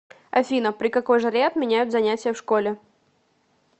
афина при какой жаре отменяют занятия в школе